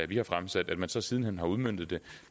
vi har fremsat at man så siden hen har udmøntet